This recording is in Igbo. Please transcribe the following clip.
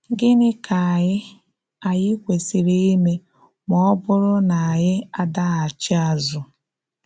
Gịnị ka ànyí ànyí kwesị́rị ime ma ọ̀ bụrụ na ànyí adaghachì azụ́?